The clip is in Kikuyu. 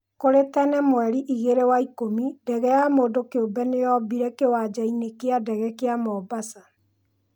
Kũrĩ tene mwerĩ igĩrĩ wa ikũmi, ndege ya mũndũkiũmbe nĩyombire kiwanjainĩ kĩa ndege kĩa Mombasa.